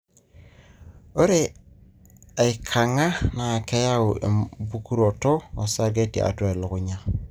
ore aikangaa na keyau embukoroto osarge tiatua elekunya.